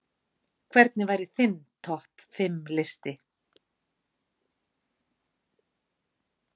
Hvernig væri þinn topp fimm listi?